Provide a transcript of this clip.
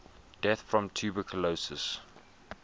deaths from tuberculosis